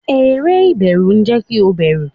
eré iberu jẹ ki o bẹru